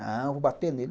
Não, vou bater nele.